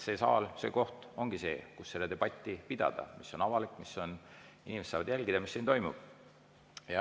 See saal, see koht ongi see, kus pidada seda debatti, mis on avalik ja inimesed saavad jälgida, mis siin toimub.